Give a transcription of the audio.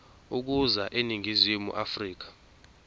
ukuza eningizimu afrika